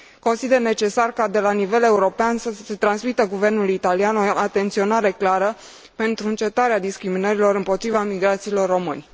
Consider necesar ca de la nivel european să se transmită guvernului italian o atenționare clară pentru încetarea discriminărilor împotriva imigranților români.